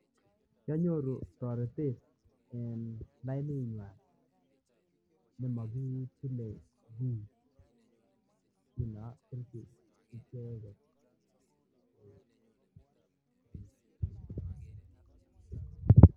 Kianyoru taretet en lainit nyuan nemakitile nemakitile ki